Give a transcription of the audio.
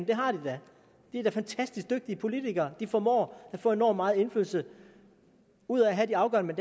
det har de da de er da fantastisk dygtige politikere de formår at få enorm meget indflydelse ud af at have de afgørende